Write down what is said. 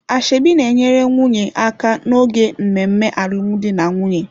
Ashebi na-enyere nwunye aka n'oge mmemme alụmdi na nwunye.